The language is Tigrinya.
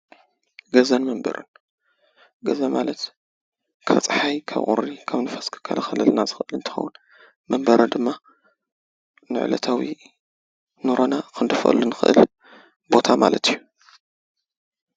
ገዛን መንበርን - ገዛ ማለት ካብ ፀሓይ፣ ካብ ቁሪን ካብ ንፋስን ዝከላከለልና ዝክእል እንትከውን፤ መንበሪ ድማ ንዕለታዊ ንሮና ክንደፍአሉ እንክእል ቦታ ማለት እዩ፡፡